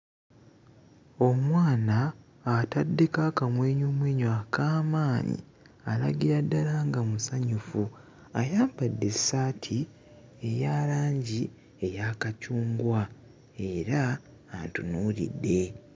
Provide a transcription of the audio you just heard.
Omwana ataddeko akamwenyumwenyu ak'amaanyi, alagira ddala nga musanyufu. Ayambadde essaati eya langi eya kacungwa era antunuulidde.